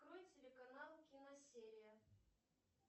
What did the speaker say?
открой телеканал киносерия